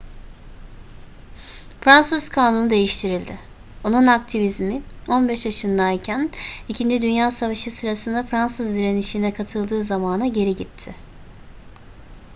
fransız kanunu değiştirildi onun aktivizmi 15 yaşındayken ii dünya savaşı sırasında fransız direnişine katıldığı zamana geri gitti